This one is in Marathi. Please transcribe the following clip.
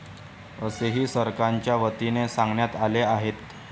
असेही सरकारच्या वतीनं सांगण्यात आले आहेत.